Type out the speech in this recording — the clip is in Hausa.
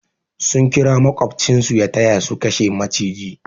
Sun kira makobcin su ya taya su kashe maciji.